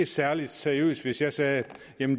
særlig seriøst hvis jeg sagde at